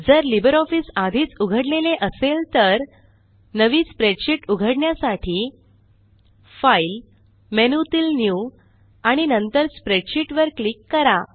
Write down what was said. जर लिब्रिऑफिस आधीच उघडलेले असेल तर नवी स्प्रेडशीट उघडण्यासाठी फाइल मेनूतील न्यू आणि नंतर स्प्रेडशीट वर क्लिक करा